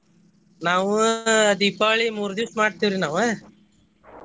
ನಾವು ದೀಪಾವಳಿ ಮೂರ್ ದಿವ್ಸ್ ಮಾಡ್ತೇವ್ರಿ ನಾವ.